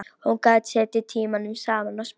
Hún gat setið tímunum saman og spilað.